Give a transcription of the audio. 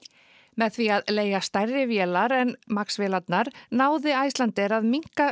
með því að leigja stærri vélar en Max vélarnar náði Icelandair að minnka